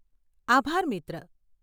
આભાર, મિત્ર.